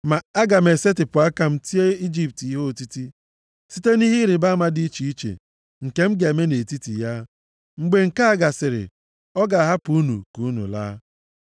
Ma aga m esetipụ aka m tie Ijipt ihe otiti, site nʼihe ịrịbama dị iche iche nke m ga-eme nʼetiti ya. Mgbe nke a gasịrị, ọ ga-ahapụ unu ka unu laa.